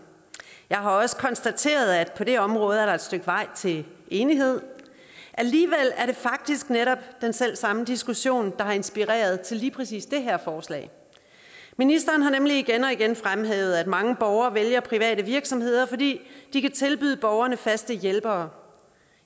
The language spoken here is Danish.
jeg har også konstateret at på det område er der et stykke vej til enighed alligevel er det faktisk netop den selv samme diskussion der har inspireret til lige præcis det her forslag ministeren har nemlig igen og igen fremhævet at mange borgere vælger private virksomheder fordi de kan tilbyde borgerne faste hjælpere